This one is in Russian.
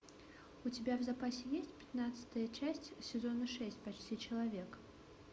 у тебя в запасе есть пятнадцатая часть сезона шесть почти человек